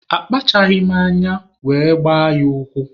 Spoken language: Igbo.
Akpachaghị m anya were gbaa ya ụkwụ.